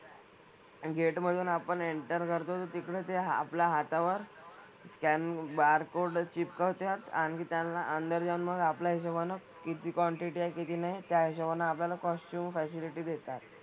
आणि gate मधून आपण enter करतो तर तिकडे ते आपल्या हातावर scan barcode चिपकवत्यात. आणखी त्यांना अंदर जाऊन मग आपल्या हिशोबानं किती quantity आहे किती नाही त्या हिशोबानं आपल्याला costume facility देतात.